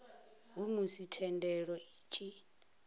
ha musi thendelo i tshi